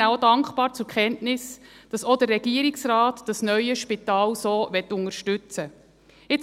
Wir nehmen auch dankbar zur Kenntnis, dass auch der Regierungsrat dieses neue Spital so unterstützen möchte.